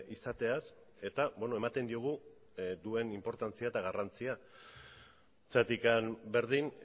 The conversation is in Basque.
izateaz eta ematen diogu duen inportantzia eta garrantzia zergatik berdin